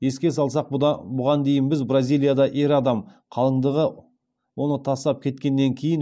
еске салсақ бұған дейін біз бразилияда ер адам қалыңдығы оны тастап кеткеннен кейін